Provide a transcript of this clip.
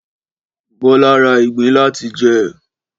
Bọ́lá ra ìgbín láti jẹ